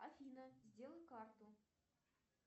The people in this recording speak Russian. афина сделай карту